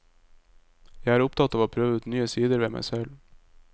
Jeg er opptatt av å prøve ut nye sider ved meg selv.